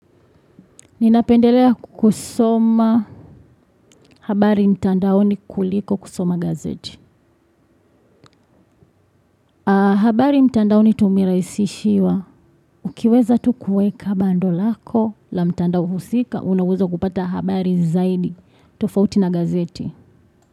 Ninapendelea kusoma habari mtandaoni kuliko kusoma gazeti. Habari mtandaoni tumerahisishiwa. Ukiweza tu kueka bando lako la mtandao husika, unaweza kupata habari zaidi. Tofauti na gazeti.